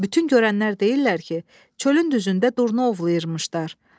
Bütün görənlər deyirlər ki, çölün düzündə durna ovlayırmışdılar.